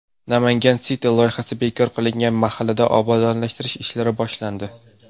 Namangan City loyihasi bekor qilingan mahallada obodonlashtirish ishlari boshlandi.